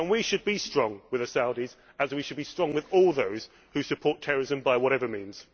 We should be strong with the Saudis, as we should be strong with all those who support terrorism by whatever means.